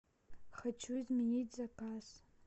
хочу изменить заказ